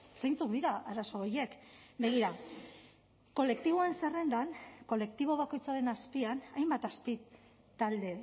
zeintzuk dira arazo horiek begira kolektiboen zerrendan kolektibo bakoitzaren azpian hainbat azpitalde